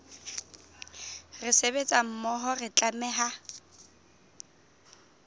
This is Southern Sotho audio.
re sebetsa mmoho re tlameha